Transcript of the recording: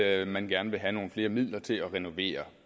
at man gerne vil have nogle flere midler til at renovere